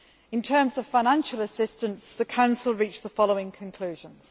In terms of financial assistance, the Council reached the following conclusions.